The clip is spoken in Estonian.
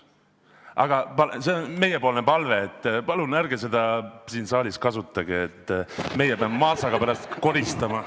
Aga meie palve on, et palun ärge seda siin saalis kasutage, muidu meie Mašaga peame pärast koristama.